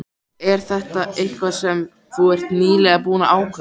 Er þetta eitthvað sem þú ert nýlega búinn að ákveða.